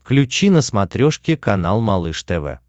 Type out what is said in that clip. включи на смотрешке канал малыш тв